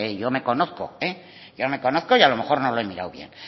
yo me conozco yo me conozco y a lo mejor no lo he mirado bien